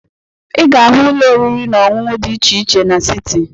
Ị ga-ahụ ụlọ oriri na ọṅụṅụ di iche iche n'siti.